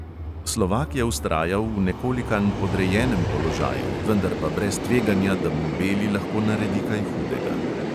Slovak je vztrajal v nekolikanj podrejenem položaju, vendar pa brez tveganja, da mu beli lahko naredi kaj hudega.